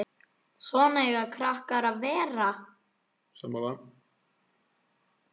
Svona eiga krakkar að vera!